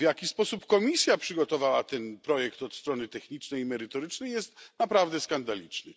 Sposób, w jaki Komisja przygotowała ten projekt od strony technicznej i merytorycznej, jest naprawdę skandaliczny.